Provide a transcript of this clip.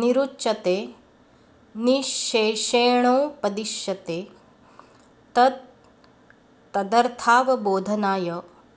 निरुच्यते निश्शेषेणोपदिश्यते तत् तदर्थावबोधनाय